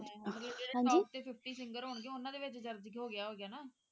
ਮਤਲਬ ਜਿਹੜੇ top ਦੇ fifty singers ਹੋਣਗੇ ਉਨ੍ਹਾਂ ਦੇ ਵਿੱਚ ਦਰਜ਼ ਹੋ ਗਿਆ ਹੋਣਾ ਨਾ